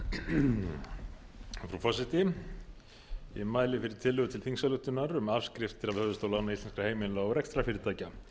frú forseti ég mæli fyrir tillögu til þingsályktunar um afskriftir af höfuðstól lána íslenskra heimila og rekstrarfyrirtækja